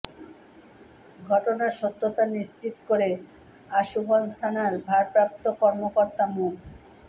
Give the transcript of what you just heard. ঘটনার সত্যতা নিশ্চিত করে আশুগঞ্জ থানার ভারপ্রাপ্ত কর্মকর্তা মো